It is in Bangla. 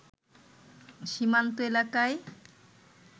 সীমান্ত এলাকায়